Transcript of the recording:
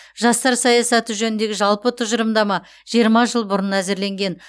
жастар саясаты жөніндегі жалпы тұжырымдама жиырма жыл бұрын әзірленген